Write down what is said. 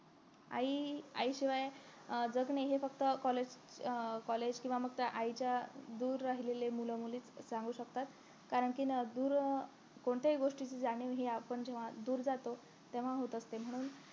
आई आईशिवाय अं जग नाही हे फक्त college अं college किंव्हा मग त्या आईच्या दूर राहिलेली मूल मुलीचं सांगू शकतात कारण कि दूर अं कोणत्याही गोष्टीची जाणीव आपण जेव्हा दूर जातो तेव्हा होत असते म्हणून